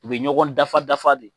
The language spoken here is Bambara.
U bɛ ɲɔgɔn dafa dafa de.